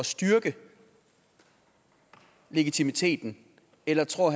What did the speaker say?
styrke legitimiteten eller tror